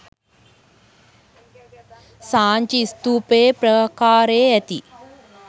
සාංචි ස්ථූපයේ ප්‍රාකාරයේ ඇති